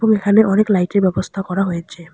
এবং এখানে অনেক লাইট -এর ব্যবস্থা করা হয়েছে।